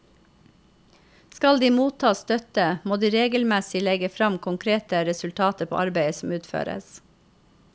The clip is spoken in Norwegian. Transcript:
Skal de motta støtte, må de regelmessig legge frem konkrete resultater på arbeidet som utføres.